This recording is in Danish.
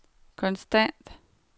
konstant